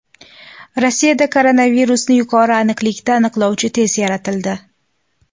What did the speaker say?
Rossiyada koronavirusni yuqori aniqlikda aniqlovchi test yaratildi.